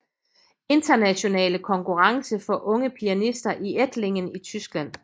Internationale Konkurrence for Unge Pianister i Ettlingen i Tyskland